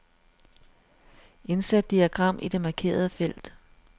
Indsæt diagram i det markerede felt.